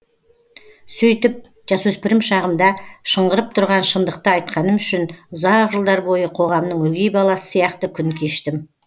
сөйтіп жасөспірім шағымда шыңғырып тұрған шындықты айтқаным үшін ұзақ жылдар бойы қоғамның өгей баласы сияқты күн кештім